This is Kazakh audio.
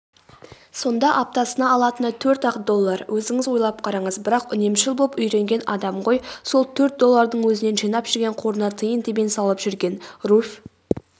сонда аптасына алатыны төрт-ақ доллар өзіңіз ойлап қараңыз бірақ үнемшіл боп үйренген адам ғой сол төрт доллардың өзінен жинап жүрген қорына тиын-тебен салып жүрген.руфь